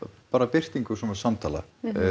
bara birtingu svona samtala